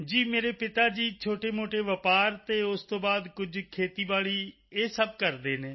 ਜੀ ਮੇਰੇ ਪਿਤਾ ਜੀ ਛੋਟੇਮੋਟੇ ਵਪਾਰ ਅਤੇ ਉਸ ਤੋਂ ਬਾਅਦ ਕੁਝ ਖੇਤੀਬਾੜੀ ਇਹ ਸਭ ਕਰਦੇ ਹਨ